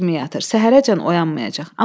Daş kimi yatır, səhərəcən oyanmayacaq.